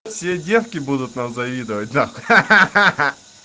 все девки будут нам завидовать ха-ха